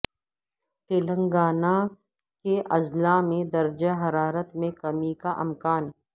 تلنگانہ کے اضلاع میں درجہ حرارت میں کمی کا امکان